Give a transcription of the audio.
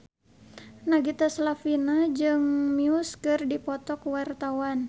Nagita Slavina jeung Muse keur dipoto ku wartawan